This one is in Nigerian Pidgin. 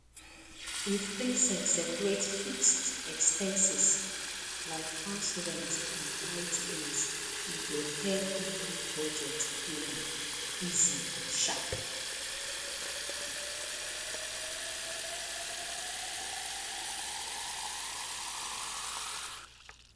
if person separate fixed expenses like house rent and light bill e go help make budget plan easy and shap